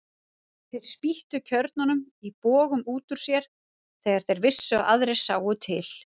Þeir spýttu kjörnunum í bogum út úr sér þegar þeir vissu að aðrir sáu til.